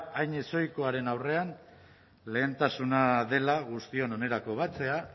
hain ezohikoaren aurrean lehentasuna dela guztion onerako batzea